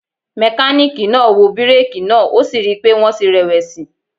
Mekaniki naa wo bireeki naa o si rii pe wọn ti rẹ+wẹsi.